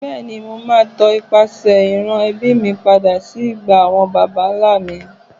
Bẹ́ẹ̀ni, màá tọ ipasẹ̀ ìran ẹbí mi padà sí ìgbà àwọn baba ńlá mi.